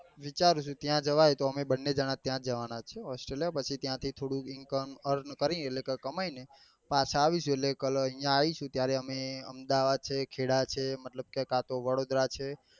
વિચારું છું ત્યાં જવાય તો અમે બન્ને જણા ત્યાં જ જવા ના છીએ austrolia પછી ત્યાં થી થોડું income earne કરી એટલે કે કમાઈ ને પાછા આવીશું એટલે અહિયાં કલો આવીશું ત્યારે અમદાવાદ છે. ખેડા છે. વડોદરા છે.